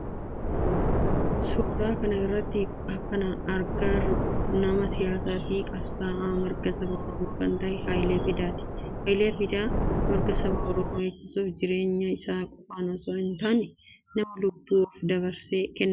Suuraa kana irratti kana agarru nama siyaasaa fi qabsa'aa mirga saba oromoo kan ta'e Haayilee Fidaati. Haayilee Fidaa mirga saba oromoo eegsiisuf jireenya isaa qofan osoo hin taane nama lubbuu ofi dabarsee kennedha.